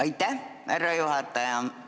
Aitäh, härra juhataja!